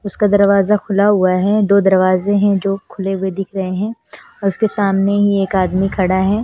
उसका दरवाजा खुला हुआ है दो दरवाजे हैं जो खुले हुए दिख रहे हैं और उसके सामने ही एक आदमी खड़ा है।